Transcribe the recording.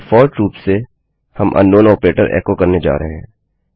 default रूप से हम अंकनाउन आपरेटर एको करने जा रहे हैं